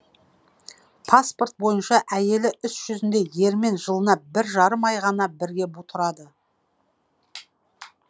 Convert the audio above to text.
паспорт бойынша әйелі іс жүзінде ерімен жылына бір жарым ай ғана бірге тұрады